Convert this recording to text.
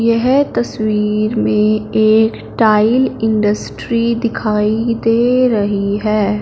यह तस्वीर में एक टाइल इंडस्ट्री दिखाई दे रही है।